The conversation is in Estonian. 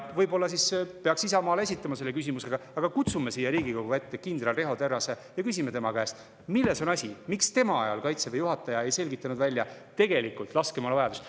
Võib-olla peaks Isamaale esitama selle küsimuse, et kutsume siia Riigikogu ette kindral Riho Terrase ja küsime tema käest, milles on asi, miks tema Kaitseväe juhatajana ei selgitanud välja tegelikku laskemoonavajadust.